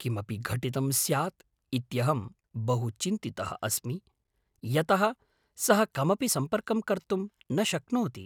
किमपि घटितं स्यात् इत्यहम् बहु चिन्तितः अस्मि, यतः सः कमपि सम्पर्कं कर्तुं न शक्नोति।